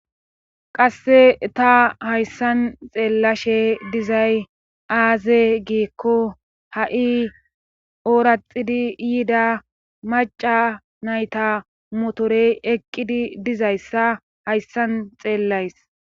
qasse ta hayssan xeellashe dizay aaze giekko ha7i ooraxidi yida maca nayta motorey eqqidi dizayssa hayssan xeellays